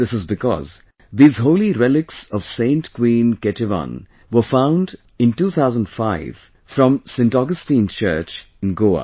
This is because these holy relics of Saint Queen Ketevan were found in 2005 from Saint Augustine Church in Goa